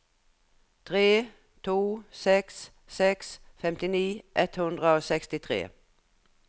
tre to seks seks femtini ett hundre og sekstitre